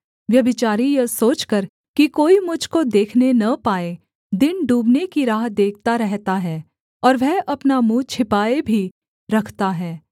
व्यभिचारी यह सोचकर कि कोई मुझ को देखने न पाए दिन डूबने की राह देखता रहता है और वह अपना मुँह छिपाए भी रखता है